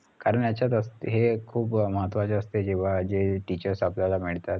कारण याच्या त हे खूप अं महत्वाचे असते जेव्हा जे teachers आपल्याला मिळतात